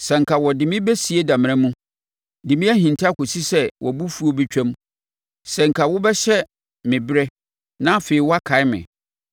“Sɛ anka wode me bɛsie damena mu de me ahinta kɔsi sɛ wʼabofuo bɛtwam! Sɛ anka wobɛhyɛ me berɛ na afei woakae me!